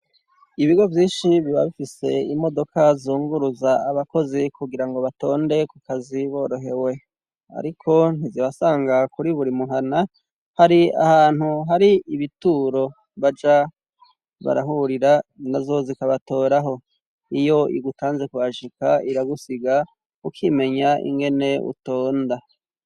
Ibigo vyinshi biba bifise imodoka zunguruza abakozi, kugira ngo batonde kukazi borohewe. Ariko ntizibasanga kuri buri muhana, hari ahantu hari ibituro baja barahurira, nazo zikabatoraho. Iyo igutanze kuhashika, iragusiga ukimenya ingene utonda.